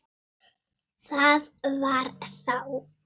Það var þá.